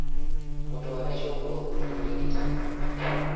mũtware cũguo kũrĩ mũrigitani